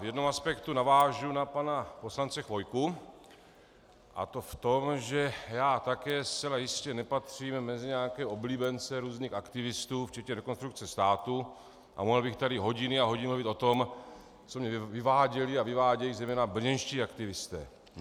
V jednom aspektu navážu na pana poslance Chvojku, a to v tom, že já také zcela jistě nepatřím mezi nějaké oblíbence různých aktivistů, včetně Rekonstrukce státu, a mohl bych tady hodiny a hodiny mluvit o tom, co mi vyváděli a vyvádějí zejména brněnští aktivisté.